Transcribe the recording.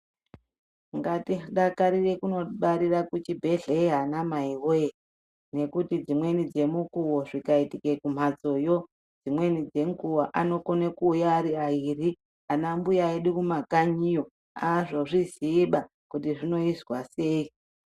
Ngatidakarire kundobarira kuchibhedhlera ana mai woye ngekuti dzimweni dzemukuwo zvikaitika kumhatsoyo dzimweni dzenguwa anokona kuuya ari airi ana mbuya edu kumakanyiyo azozviziyiba kuti zvinoizwa sei.